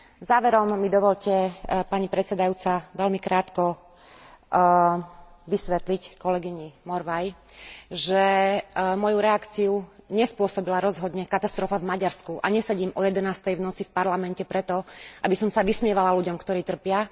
Záverom mi dovoľte, pani predsedajúca, veľmi krátko vysvetliť kolegyni Morvaiovej, že moju reakciu nespôsobila rozhodne katastrofa v Maďarsku a nesedím o jedenástej v noci v Parlamente preto, aby som sa vysmievala ľuďom, ktorí trpia.